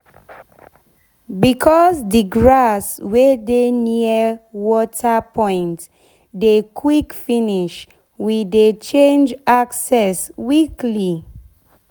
becos d grass wey de near water point dey quick finish we dey change access weekly